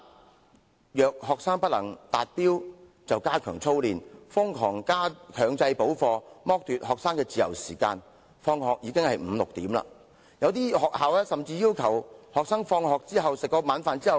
至於那些不能達標的學生，學校唯有加強操練，瘋狂強制補課，剝奪學生的自由時間，以致他們要到傍晚五六時才可以放學回家。